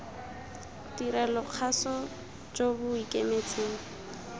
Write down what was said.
tirelo kgaso jo bo ikemetseng